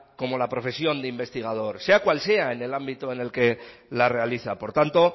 como la profesión de investigador sea cual sea en el ámbito en el que la realiza por tanto